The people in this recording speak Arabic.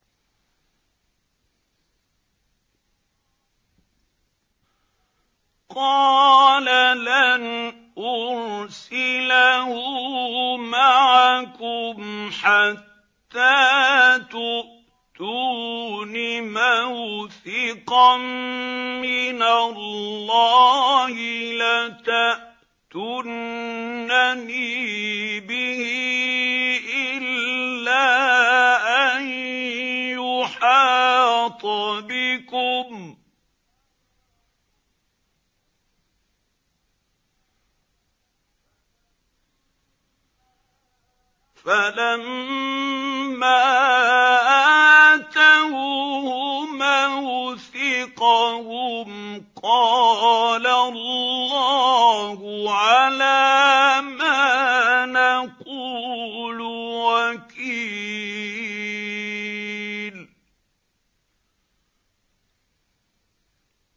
قَالَ لَنْ أُرْسِلَهُ مَعَكُمْ حَتَّىٰ تُؤْتُونِ مَوْثِقًا مِّنَ اللَّهِ لَتَأْتُنَّنِي بِهِ إِلَّا أَن يُحَاطَ بِكُمْ ۖ فَلَمَّا آتَوْهُ مَوْثِقَهُمْ قَالَ اللَّهُ عَلَىٰ مَا نَقُولُ وَكِيلٌ